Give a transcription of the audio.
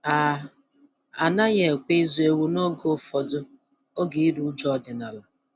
A A naghị ekwe ịzụ ewu n'oge ụfọdụ oge iru uju ọdịnala.